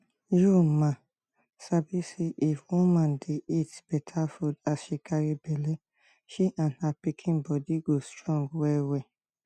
u ma sabi say if woman dey eat better food as she carry belle she and her pikin body go strong well well